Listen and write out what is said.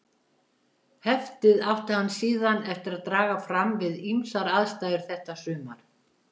Heftið átti hann síðan eftir að draga fram við ýmsar aðstæður þetta sumar.